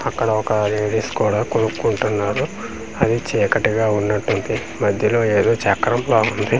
అక్కడ ఒక లేడీస్ కూడ కొనుక్కుంటున్నారు అది చీకటిగా వున్నట్టుంది మధ్యలో ఏదో చక్రం లా వుంది .